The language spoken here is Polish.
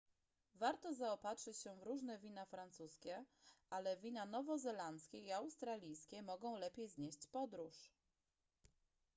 warto zaopatrzyć się w różne wina francuskie ale wina nowozelandzkie i australijskie mogą lepiej znieść podróż